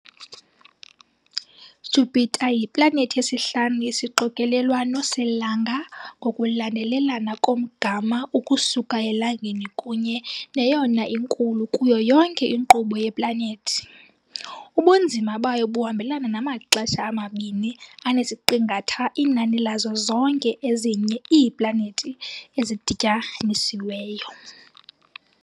Jupiter yiplanethi yesihlanu yesixokelelwano selanga ngokulandelelana komgama ukusuka eLangeni kunye neyona inkulu kuyo yonke inkqubo yeplanethi - ubunzima bayo buhambelana namaxesha amabini anesiqingatha inani lazo zonke ezinye iiplanethi ezidityanisiweyo.